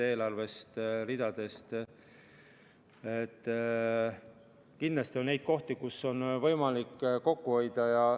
Kindlasti on kohti, kus on võimalik kokku hoida.